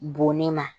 Bonni ma